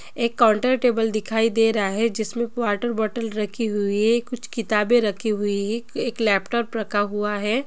एक counter table दिखाई दे रहा है जिसमे वाटर बोटल रखी हुई है कुछ कितबे रखी हुई हैएक लैपटॉप रखा हुवा है।